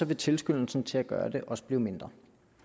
vil tilskyndelsen til at gøre det også blive mindre